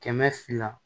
Kɛmɛ fila